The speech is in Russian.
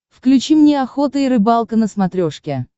включи мне охота и рыбалка на смотрешке